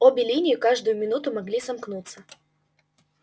обе линии каждую минуту могли сомкнуться